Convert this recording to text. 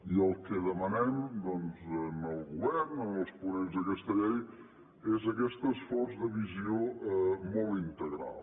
i el que demanem al govern als ponents d’aquesta llei és aquest esforç de visió molt integral